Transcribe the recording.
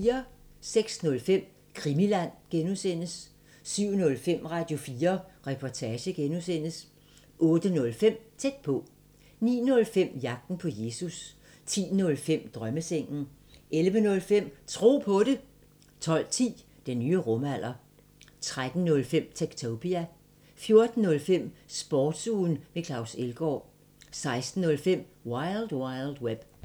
06:05: Krimiland (G) 07:05: Radio4 Reportage (G) 08:05: Tæt på 09:05: Jagten på Jesus 10:05: Drømmesengen 11:05: Tro på det 12:10: Den nye rumalder 13:05: Techtopia 14:05: Sportsugen med Claus Elgaard 16:05: Wild Wild Web